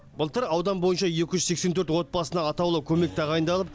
былтыр аудан бойынша екі жүз сексен төрт отбасына атаулы көмек тағайындалып